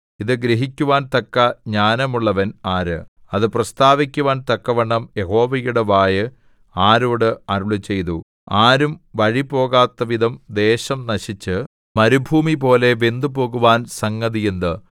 ഇതു ഗ്രഹിക്കുവാൻ തക്ക ജ്ഞാനമുള്ളവൻ ആര് അത് പ്രസ്താവിക്കുവാൻ തക്കവണ്ണം യഹോവയുടെ വായ് ആരോട് അരുളിച്ചെയ്തു ആരും വഴിപോകാത്തവിധം ദേശം നശിച്ച് മരുഭൂമിപോലെ വെന്തുപോകുവാൻ സംഗതി എന്ത്